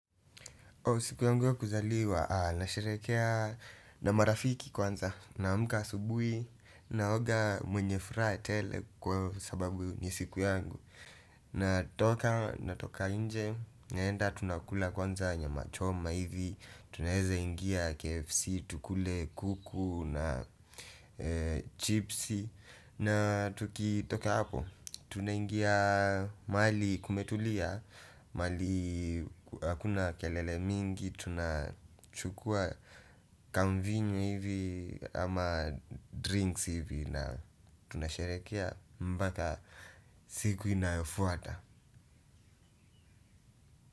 Siku yangu ya kuzaliwa, nasherekea na marafiki kwanza, naamka asubuhi, naoga mwenye furaha tele kwa sababu ni siku yangu. Natoka, natoka nje, naenda tunakula kwanza nyama choma hivi, tunaweze ingia KFC, tukule kuku na chipsi na tukitoka hapo tunaingia mahali kumetulia, mahali hakuna kelele mingi, tunachukua kamvinyo hivi ama drinks hivi na tunasherekea mpaka siku inayofuata.